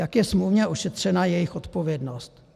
Jak je smluvně ošetřena jejich odpovědnost?